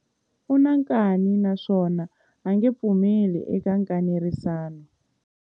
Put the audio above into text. U na nkani naswona a nge pfumeli eka nkanerisano.